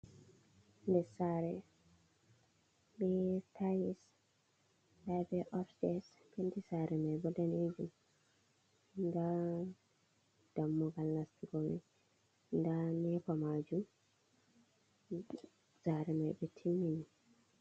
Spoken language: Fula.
Ɗow sare be tiles habe opstairs penti sare mai bo danejum, nda dammugal nastugo mai nda nepa majum sare maibo ɓe timmi.